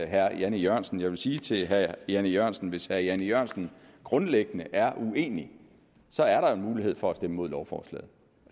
herre jan e jørgensen jeg vil sige til herre jan e jørgensen at hvis herre jan e jørgensen grundlæggende er uenig er der jo en mulighed for at stemme imod lovforslaget